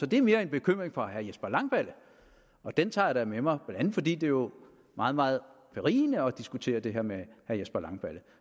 det er mere en bekymring for herre jesper langballe og den tager jeg da med mig blandt andet fordi det jo er meget meget berigende at diskutere det her med herre jesper langballe